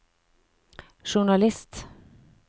journalist